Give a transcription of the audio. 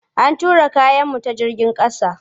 An tura kayanmu ta jigin ƙasa.